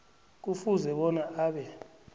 kufuze bona abe